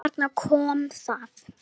Og þarna kom það.